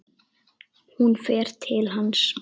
Hún fer til hans.